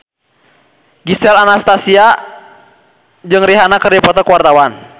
Gisel Anastasia jeung Rihanna keur dipoto ku wartawan